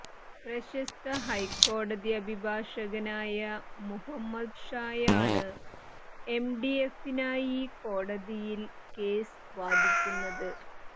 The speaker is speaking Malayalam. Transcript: പ്രശസ്ത ഹൈക്കോടതി അഭിഭാഷകനായ മുഹമ്മദ്ഷായാണ് എംഡിഎഫിനായി കോടതിയിൽ കേസ് വാദിക്കുന്നത്